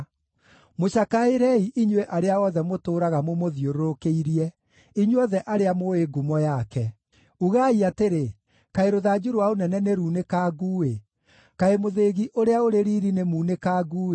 Mũcakaĩrei inyuĩ arĩa othe mũtũũraga mũmũthiũrũrũkĩirie, inyuothe arĩa mũũĩ ngumo yake; ugai atĩrĩ, ‘Kaĩ rũthanju rwa ũnene nĩrunĩkangu-ĩ! Kaĩ mũthĩgi ũrĩa ũrĩ riiri nĩmunangĩku-ĩ!’